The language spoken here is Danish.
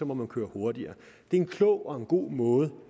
må man køre hurtigere det er en klog og god måde